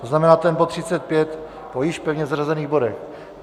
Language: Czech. To znamená ten bod 35 po již pevně zařazených bodech.